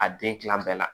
A den kilan bɛɛ la